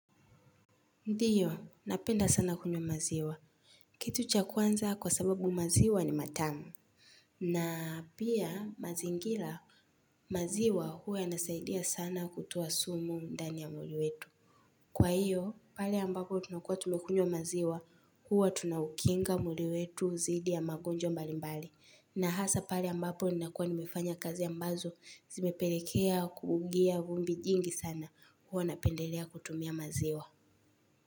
Ndio, napenda sana kunywa maziwa. Kitu cha kwanza kwa sababu maziwa ni matamu. Na pia mazingila maziwa huwa inasaidia sana kutoa sumu ndani ya mwili wetu. Kwa hiyo, pale ambapo tunakuwa tumekunywa maziwa huwa tunaukinga mwili wetu zidi ya magonjwa mbali mbali na hasa pale ambapo ninakua nimefanya kazi ambazo zimepelekea kuungia gumbi jingi sana huwa napendelea kutumia maziwa.